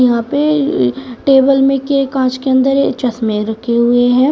यहां पे a table में के कांच के अंदर चश्मे रखे हुए है।